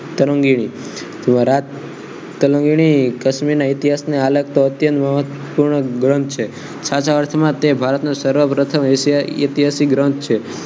કાશ્મીર ના ઇતિહાસ આલેખતો અત્યંત મહત્વપૂર્ણ ગ્રંથ છે આજ અર્થમા તે ભારતનો સર્વપ્રથમ ઐતિહાસિક રમ છે